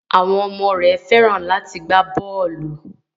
Àwọn ọmọ rẹ Fẹ́ràn láti gbá bọ́ọlù.